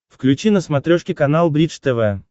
включи на смотрешке канал бридж тв